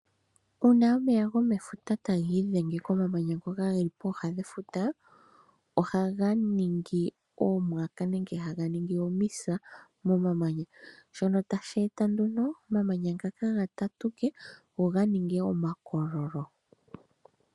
Uuna omeya gomefuta ta gi idhenge komamanya ngoka ge li pooha dhefuta, oha ga ningi oomwaka nenge haga ningi omisa momamanya, shono tashi eta nduno omamanya ngaka ga tatuke go oga ninge omakololo.